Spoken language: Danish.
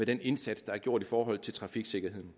den indsats der er gjort for trafiksikkerheden